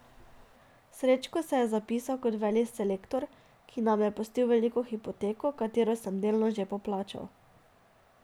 Srečko se je zapisal kot velik selektor, ki nam je pustil veliko hipoteko, katero sem delno že poplačal.